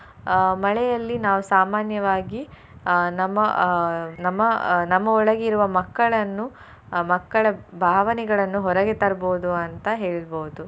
ಅಹ್ ಮಳೆಯಲ್ಲಿ ನಾವು ಸಾಮಾನ್ಯವಾಗಿ ಅಹ್ ನಮ್ಮ, ಅಹ್ ನಮ್ಮ, ಅಹ್ ನಮ್ಮ ಒಳಗೆ ಇರುವ ಮಕ್ಕಳನ್ನು ಅಹ್ ಮಕ್ಕಳ ಭಾವನೆಗಳನ್ನು ಹೊರಗೆ ತರ್ಬೋದು ಅಂತ ಹೇಳ್ಬೋದು.